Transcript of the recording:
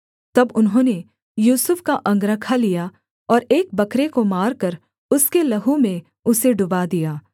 तब उन्होंने यूसुफ का अंगरखा लिया और एक बकरे को मारकर उसके लहू में उसे डुबा दिया